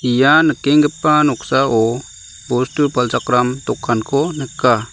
ia nikenggipa noksao bostu palchakram dokanko nika.